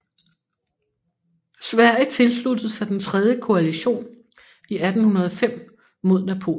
Sverige tilsluttede sig den tredje koalition i 1805 mod Napoleon